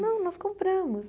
Não, nós compramos.